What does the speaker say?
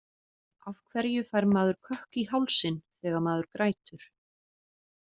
Af hverju fær maður kökk í hálsinn þegar maður grætur?